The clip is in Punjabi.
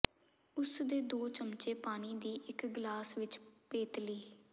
ਉਸ ਦੇ ਦੋ ਚਮਚੇ ਪਾਣੀ ਦੀ ਇੱਕ ਗਲਾਸ ਵਿੱਚ ਪੇਤਲੀ